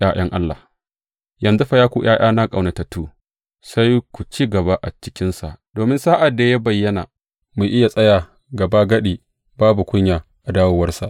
’Ya’yan Allah Yanzu fa, ya ku ’ya’yana ƙaunatattu, sai ku ci gaba a cikinsa, domin sa’ad da ya bayyana, mu iya tsaya gabagadi babu kunya a dawowarsa.